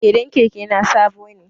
Fedan keke na sabo ne